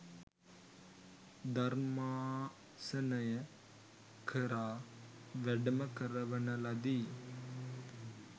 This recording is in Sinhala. ධර්මාසනය කරා වැඩම කරවන ලදී.